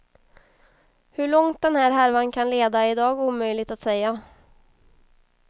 Hur långt den här härvan kan leda är i dag omöjligt att säga.